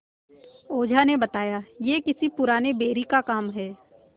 ओझा ने बताया यह किसी पुराने बैरी का काम है